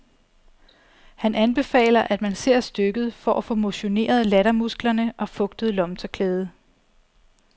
Han anbefaler, at man ser stykket for at få motioneret lattermusklerne og fugtet lommetørklædet.